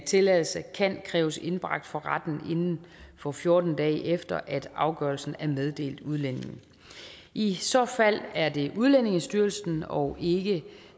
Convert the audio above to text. tilladelse kan kræves indbragt for retten inden for fjorten dage efter at afgørelsen er meddelt udlændingen i så fald er det udlændingestyrelsen og ikke